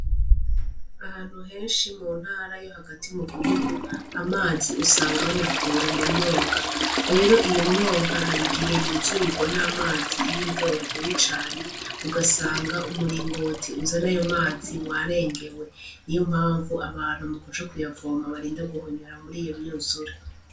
Ahantu henshi mu ntarayo hagati mu gihugu amazi usanga bayakura mu myonga rero iyo myonga hari igihe yuzurirwa n'amazi iyo imvura yaguye cane ugasanga umuringoti uza n'ayo mazi warengewe ni yo mpamvu abantu mu kuca kuyavoma barinda guhonyura muri iyo myuzu.